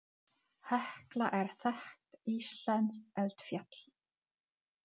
Hekla er þekkt íslenskt eldfjall.